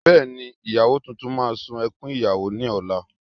Bẹ́ẹ̀ni, ìyàwó tuntun máa ṣun ẹkún ìyàwó ní ọ̀la